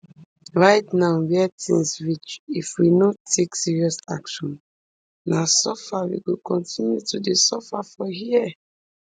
right now wia tins reach if we no take serious action na suffer we go continue to dey suffer for here